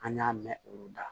An y'a mɛn olu da